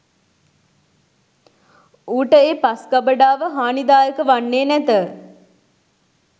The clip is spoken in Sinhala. ඌට ඒ පස් ගබඩාව හානිදායක වන්නේ නැත.